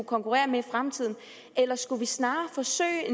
konkurrere med i fremtiden eller skulle vi snarere forsøge